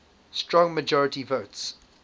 strong majority votes